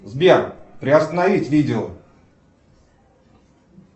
сбер приостановить видео